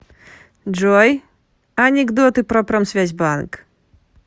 джой анекдоты про промсвязьбанк